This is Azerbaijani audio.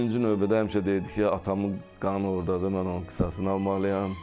Birinci növbədə həmişə deyirdi ki, atamın qanı ordadır, mən onun qisasını almalıyam.